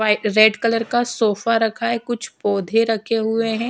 White red colour का sofa रखा है कुछ पौधे रखे हुए है।